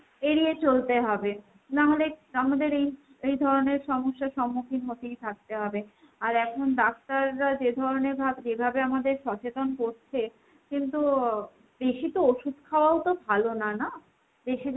এড়িয়ে চলতে হবে। নাহলে আমাদের এই এই ধরণের সমস্যার সম্মুখীন হতেই থাকতে হবে। আর এখন ডাক্তাররা যে ধরণের ভাব যেভাবে আমাদের সচেতন করছে, কিন্তু আহ বেশি তো ওষুধ খাওয়াও তো ভালো না না? বেশি